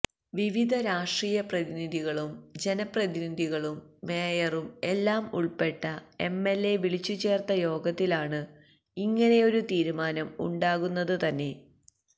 വിവിധ രാഷ്ട്രീയ പ്രതിനിധികളും ജനപ്രതിനിധികളും മേയറും എല്ലാം ഉള്പ്പെട്ട എംഎല്എ വിളിച്ചു ചേര്ത്ത യോഗത്തിലാണ് ഇങ്ങനെയൊരു തീരുമാനം ഉണ്ടാകുന്നത് തന്നെ